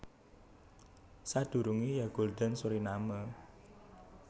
Sadurungé ya Gulden Suriname